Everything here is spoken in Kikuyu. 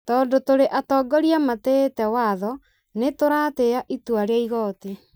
Tondũ tũrĩ atongoria matĩĩtĩ watho, nĩ tũratĩĩa itua rĩa igooti.